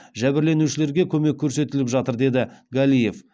жәбірленушілерге көмек көрсетіліп жатыр деді галиев